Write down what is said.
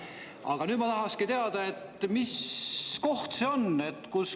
" Aga nüüd ma tahaksingi teada, mis koht see on.